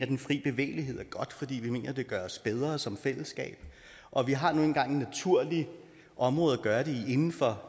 den fri bevægelighed er godt fordi vi mener at det gør os bedre som fællesskab og vi har nu engang et naturligt område at gøre det inden for